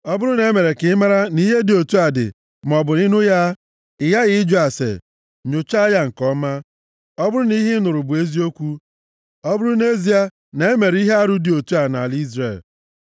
ọ bụrụ na e mere ka ị maara nʼihe dị otu a dị maọbụ ị nụ ya, ị ghaghị ịjụ ase, nyochaa ya nke ọma. Ọ bụrụ na ihe ị nụrụ bụ eziokwu, ọ bụrụ nʼezie na e mere ihe arụ dị otu a nʼala Izrel,